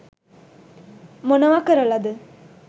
මොනව කරලද